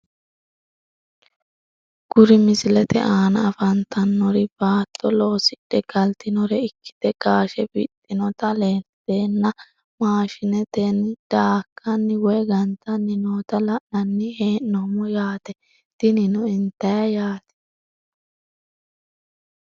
Kuri misilete aana afantanori baato losidhe galtinore ikite gaashe wixinota lalteena mashineteni daakani woyi gantani noota la`nani henomo yaate tinino intayte yaate.